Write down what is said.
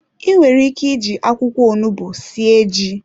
Inwere ike ịji akwụkwọ onugbu sie ji.